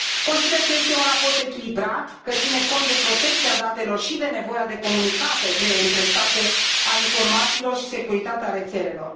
Consider că este un raport echilibrat, că ține cont de protecția datelor și de nevoia de comunicare între state a informațiilor și de securitate a rețelelor.